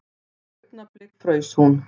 Augnablik fraus hún.